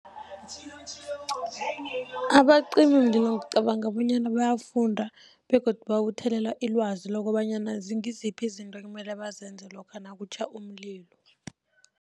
Abacimimlilo ngicabanga bonyana bayafunda begodu babuthelela ilwazi, lokobanyana ngiziphi izinto ekumele bazenze lokha nakutjha umlilo.